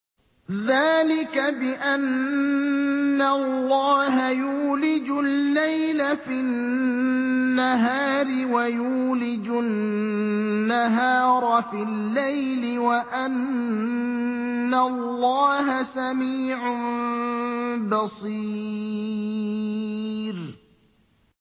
ذَٰلِكَ بِأَنَّ اللَّهَ يُولِجُ اللَّيْلَ فِي النَّهَارِ وَيُولِجُ النَّهَارَ فِي اللَّيْلِ وَأَنَّ اللَّهَ سَمِيعٌ بَصِيرٌ